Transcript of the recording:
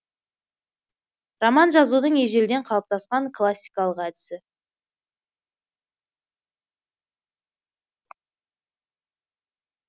роман жазудың ежелден қалыптасқан классикалық әдісі